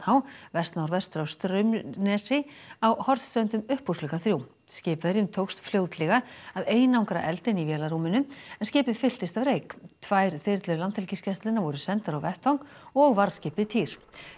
vest norðvestur af Straumnesi á Hornströndum upp úr klukkan þrjú skipverjum tókst fljótlega að einangra eldinn í vélarrúminu en skipið fylltist af reyk tvær þyrlur Landhelgisgæslunnar voru sendar á vettvang og varðskipið týr